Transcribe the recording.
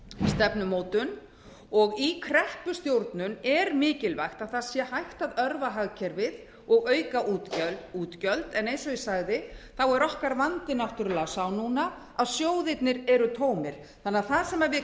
stefnumótun og í kreppustjórnun er mikilvægt að hægt sé að örva hagkerfið og auka útgjöld en eins og ég sagði er okkar vandi náttúrlega sá núna að sjóðirnir eru tómir þannig að það sem við